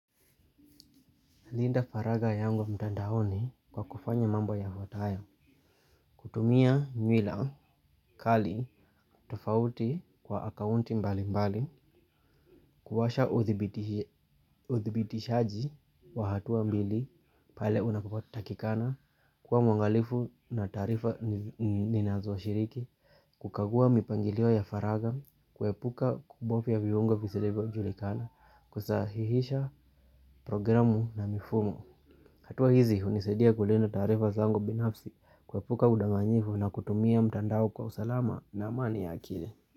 Linda faragha yangu mtandaoni kwa kufanya mamba yafatayo, kutumia nywila kali tofauti kwa akaunti mbalimbali, kuwasha udhibitiji uthibitishaji wa hatua mbili, pale unapapotakikana, kuwa mwangalifu na taarifa ninazohiriki, kukagua mipangilio ya faragha, kuepuka kubofya viunga visivyojulikana, kusahihisha programu na mifumo. Hatua hizi hunisadia kulinda taarifa zangu binafsi kuepuka udanganyifu na kutumia mtandao kwa usalama na amani ya akili.